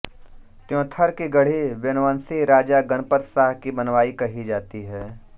त्योंथर की गढ़ी वेनवंशी राजा गनपत शाह की बनवायी कही जाती है